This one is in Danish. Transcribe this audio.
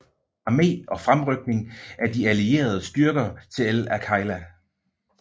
Armé og fremrykning af de allierede styrker til El Agheila